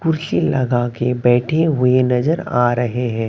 कुर्सी लगाके बैठे हुए नजर आ रहे हैं।